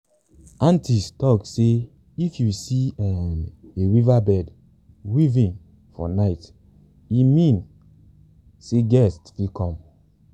aunties talk say if you see um a weaverbird weaving for night e mean sey guest fit come